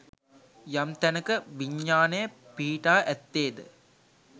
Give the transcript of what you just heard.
යම් තැනක විඤ්ඤාණය පිහිටා ඇත්තේ ද